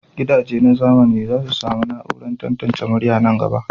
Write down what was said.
Gidajen zamani za su sami na'urar tantance murya a nan gaba.